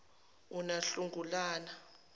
unahlangulana